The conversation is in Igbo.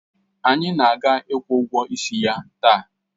Anyị ga-akwụ ụgwọ ịsị ya taa